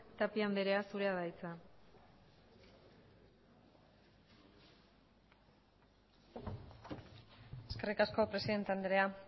tapia andrea zurea da hitza eskerrik asko presidente andrea